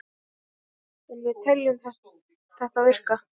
En við teljum þetta virka.